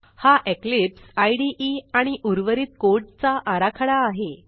हा Eclipse IDE आणि उर्वरित कोड चा आराखडा आहे